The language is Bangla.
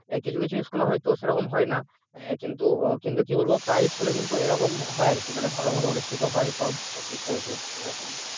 কিছু কিছু school হয়তো সেরকম হয় না কিন্তু কিন্তু কি বলবো প্রাই school কিন্তু এরকম হয় আরকি মানে ভালোভাবে অনুষ্ঠিত হয় সব কিছু আর কি এরকম